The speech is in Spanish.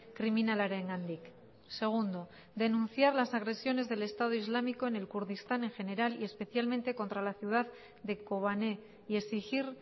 kriminalarengandik segundo denunciar las agresiones del estado islámico en el kurdistán en general y especialmente contra la ciudad de kobané y exigir